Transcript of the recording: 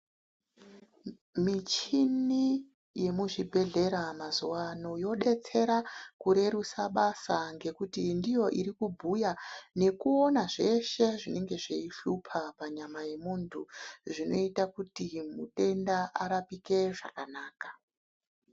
Michini yemuzvibhedhlera mazuva ano yodetsera kurerutsa basa ngekuti ndiyo iri kubhuya ngekuona zveshe zvinenge zveyihlupa panyama yemuntu zvinoita kuti matenda arapike zvakanaka.